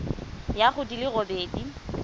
ya go di le robedi